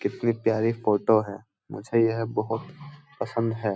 कितनी प्यारी फोटो है मुझे यह बहुत पसंद ह।